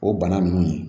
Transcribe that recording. O bana ninnu